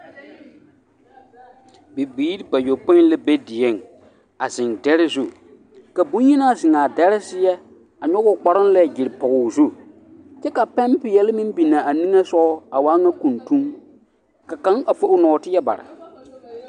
Bibiiri bayɔpoe la be dieŋ a zeŋ dɛre zu ka bonyenaa zeŋ a dɛre seɛ a nɔge o kparoo lɛ gyere pɔge o zu kyɛ ka pɛmpeɛle meŋ biŋ a nimisogɔ a waa ŋa kuntuŋ ka kaŋ a fo o nɔɔteɛ bare.